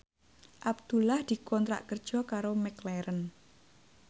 Abdullah dikontrak kerja karo McLaren